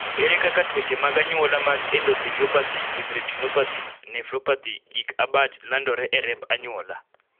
ere kaka tuoche amag anyuola mag endotheliopathy with retinopathy, nephropathy gic abach landore e remb anyuola